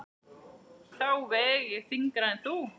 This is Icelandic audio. Þá veg ég þyngra en þú.